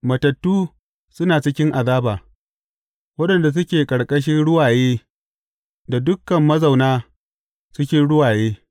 Matattu suna cikin azaba, waɗanda suke ƙarƙashin ruwaye da dukan mazauna cikin ruwaye.